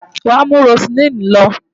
Wàá mú Roseline lọ!